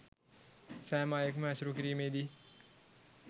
සෑම අයෙක්ම ඇසුරු කිරීමේ දී